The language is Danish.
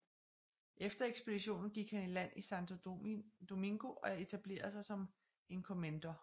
Efter ekspeditionen gik han i land i Santo Domingo og etablerede sig som encomendor